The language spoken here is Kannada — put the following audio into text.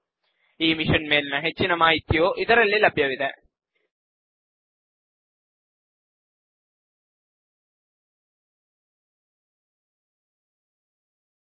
ಇದರ ಬಗ್ಗೆ ಹೆಚ್ಚಿನ ಮಾಹಿತಿಯು spoken hyphen tutorial dot org slash NMEICT hyphen intro ನಲ್ಲಿ ಲಭ್ಯವಿದೆ